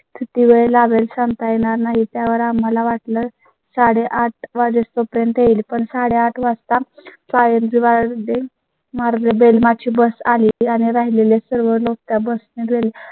किती वेळ लागेल सांगता येणार नाही त्यावर आम्हाला वाटलं साडेआठ वाजेपर्यंत येईल पण साडेआठ वाजता काळे बेल मारली bus आली आणि राहिलेले सर्व त्या bus मिळेल